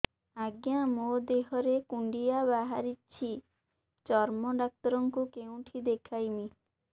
ଆଜ୍ଞା ମୋ ଦେହ ରେ କୁଣ୍ଡିଆ ବାହାରିଛି ଚର୍ମ ଡାକ୍ତର ଙ୍କୁ କେଉଁଠି ଦେଖେଇମି